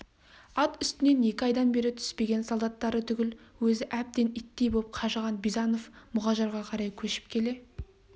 ат үстінен екі айдан бері түспеген солдаттары түгіл өзі әбден иттей боп қажыған бизанов мұғажарға қарай көшіп келе